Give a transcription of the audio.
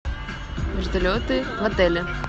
вертолеты в отеле